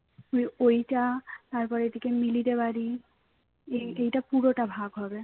ওই~ ওইটা তারপরে এদিকে মিলিদের বাড়ি এই এইটা পুরোটা ভাগ হবে